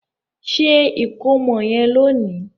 Ṣe ikomo yen lóni!